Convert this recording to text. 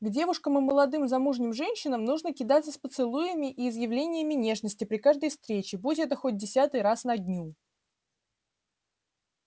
к девушкам и молодым замужним женщинам нужно кидаться с поцелуями и изъявлениями нежности при каждой встрече будь это хоть десять раз на дню